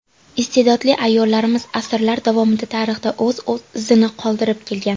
Iste’dodli ayollarimiz asrlar davomida tarixda o‘z izini qoldirib kelgan.